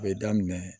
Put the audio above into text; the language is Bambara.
A bɛ daminɛ